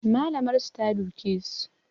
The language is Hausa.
Malamar su ta duke su